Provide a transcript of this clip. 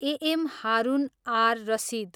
A M Harun ar Rashid